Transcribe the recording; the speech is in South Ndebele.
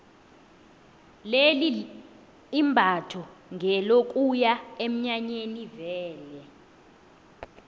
leli imbatho ngelokuya eminyanyeni vele